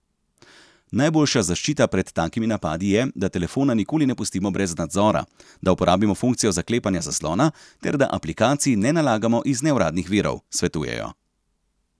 Najboljša zaščita pred takimi napadi je, da telefona nikoli ne pustimo brez nadzora, da uporabimo funkcijo zaklepanja zaslona, ter da aplikacij ne nalagamo iz neuradnih virov, svetujejo.